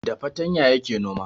Da fartanya yake noma